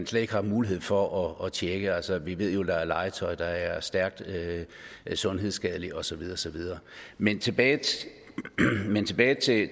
slet ikke har mulighed for at tjekke altså vi ved jo at der er legetøj der er stærkt sundhedsskadeligt og så videre og så videre men tilbage men tilbage